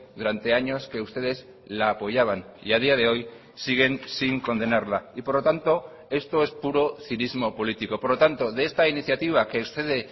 durante años que ustedes la apoyaban y a día de hoy siguen sin condenarla y por lo tanto esto es puro cinismo político por lo tanto de esta iniciativa que excede